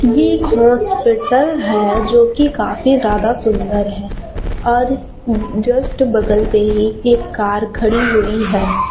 एक हॉस्पिटल है जो की काफी ज्यादा सुंदर है और जस्ट बगल में ही एक कार खड़ी हुई है।